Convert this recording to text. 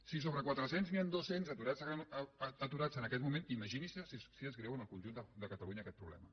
si sobre quatre cents n’hi han dos cents aturats en aquest moment imaginin se si és greu en el conjunt de catalunya aquest problema